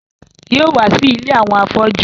Yóò wá sí ilé àwọn afọ́jú